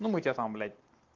ну мы тебя там блядь